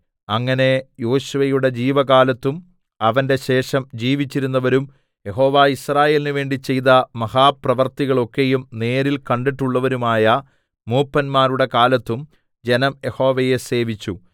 അങ്ങനെ യോശുവയുടെ ജീവകാലത്തും അവന്റെ ശേഷം ജീവിച്ചിരുന്നവരും യഹോവ യിസ്രായേലിന് വേണ്ടി ചെയ്ത മഹാപ്രവൃത്തികളൊക്കെയും നേരിൽ കണ്ടിട്ടുള്ളവരുമായ മൂപ്പന്മാരുടെ കാലത്തും ജനം യഹോവയെ സേവിച്ചു